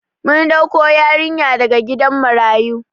Mun ɗauko yarinyar daga gidan marayu